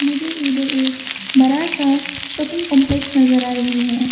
मुझे इधर एक बरा सा शॉपिंग कंपलेक्स नजर आ रही है।